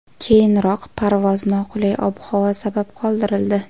Keyinroq parvoz noqulay ob-havo sabab qoldirildi.